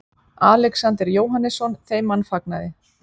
Alexander Jóhannesson þeim mannfagnaði.